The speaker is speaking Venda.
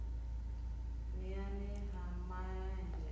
n iani ha ma enzhe